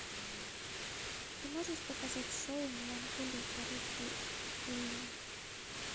ты можешь показать шоу меланхолия харухи судзумии